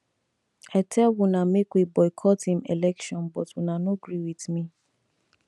i tell una make we boycott im election but una no gree with me